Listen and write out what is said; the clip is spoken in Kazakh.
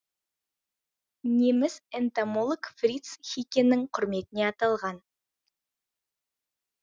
неміс энтомолог фриц хикенің құрметіне аталған